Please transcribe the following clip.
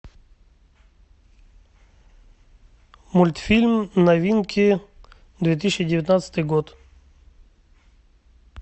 мультфильм новинки две тысячи девятнадцатый год